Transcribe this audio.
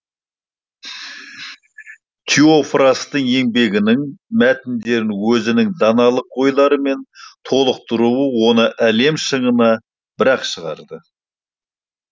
теофрастың еңбегінің мәтіндерін өзінің даналық ойларымен толықтыруы оны әлем шыңына бір ақ шығарды